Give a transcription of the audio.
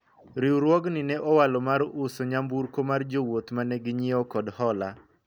riwruogni ne owalo mar uso nyamburko mar jowuoth mane ginyiewo kod hola